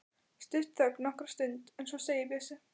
Stutt þögn nokkra stund en svo segir Bjössi